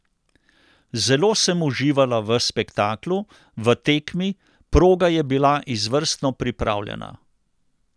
Zelo sem uživala v spektaklu, v tekmi, proga je bila izvrstno pripravljena.